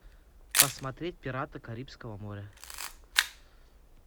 посмотреть пираты карибского моря